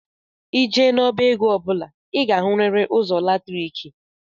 i jee na- ọbá égo ọbula i ga- ahuriri ụzọ latriki